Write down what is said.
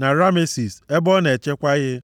na Ramesis, ebe ọ na-echekwa ihe.